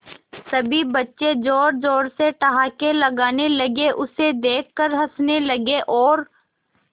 सभी बच्चे जोर जोर से ठहाके लगाने लगे उसे देख कर हंसने लगे और